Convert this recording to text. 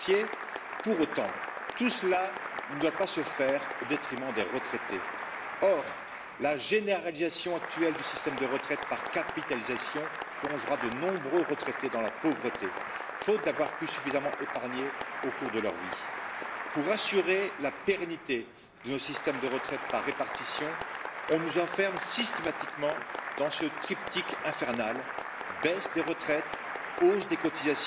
kunnen geven. Tegelijkertijd vind ik het net als anderen jammer dat de linkse fractie met dit debat eigenlijk een soort van schijntegenstelling probeert te creëren tussen de eerste pijler en de andere pijlers. Een eerlijke blik op de toekomst laat zien dat als we een goede oudedagvoorziening voor alle Europese burgers willen, wij een gezonde mix van de drie pijlers nodig hebben. Hoe eerder ook links dat inziet, hoe beter, voor alle Europese burgers, zowel